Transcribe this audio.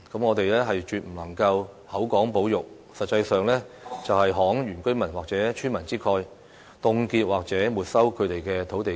我們絕不能夠口講保育，實際上"慷原居民或村民之慨"，凍結或沒收他們的土地資產。